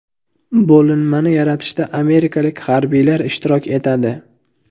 Bo‘linmani yaratishda amerikalik harbiylar ishtirok etadi.